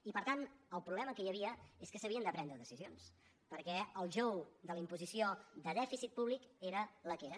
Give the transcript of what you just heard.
i per tant el problema que hi havia és que s’havien de prendre decisions perquè el jou de la imposició de dèficit públic era el que era